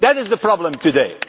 That is the problem today.